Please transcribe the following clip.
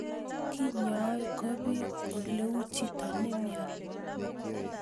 Kenyaa ko pee ole uu chito ne imiani